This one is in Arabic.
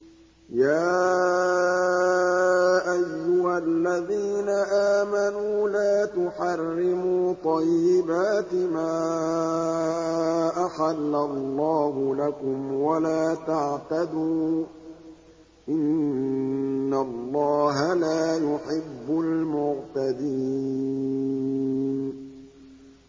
يَا أَيُّهَا الَّذِينَ آمَنُوا لَا تُحَرِّمُوا طَيِّبَاتِ مَا أَحَلَّ اللَّهُ لَكُمْ وَلَا تَعْتَدُوا ۚ إِنَّ اللَّهَ لَا يُحِبُّ الْمُعْتَدِينَ